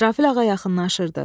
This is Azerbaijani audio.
İsrafil ağa yaxınlaşırdı.